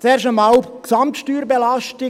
– Zuerst einmal die Gesamtsteuerbelastung.